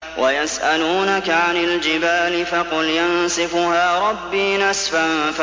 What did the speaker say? وَيَسْأَلُونَكَ عَنِ الْجِبَالِ فَقُلْ يَنسِفُهَا رَبِّي نَسْفًا